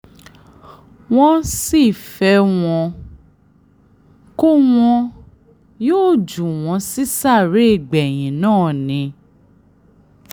wọ́n sì fẹ́ wọn kó wọn yóò jù wọ́n sí sàréè gbẹ̀yìn náà ni